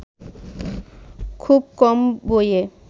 খুব কম বইয়ে